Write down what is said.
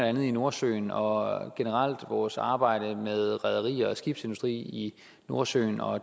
andet i nordsøen og generelt vores arbejde i rederi og skibsindustri i nordsøen og